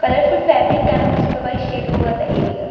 Colourful fabric canopies provide sheet over the area.